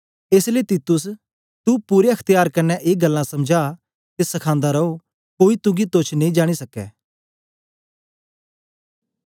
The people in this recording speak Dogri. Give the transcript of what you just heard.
एस लेई तीतुस तू पूरे अख्त्यार कन्ने ए गल्लां समझा ते सखांदा रो कोई तुगी तोच्छ नेई जानी सकै